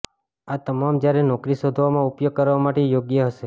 આ તમામ જ્યારે નોકરી શોધવામાં ઉપયોગ કરવા માટે યોગ્ય હશે